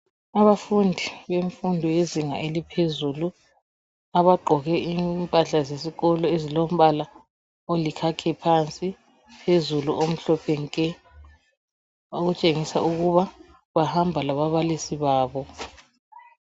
Abafundi bebemfundo yizinga eliphezulu abagqoke impahla zesikolo ezilombala olikhakhi phezulu umhlophe nke okutshengisa ukuba bahamba lababalisi babo